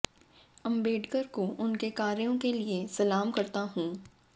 अंबेडकर को उनके कार्यो के लिए सलाम करता हूं